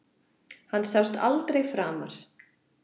Hann sást aldrei framar.